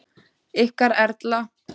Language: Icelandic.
Ykkar Erla.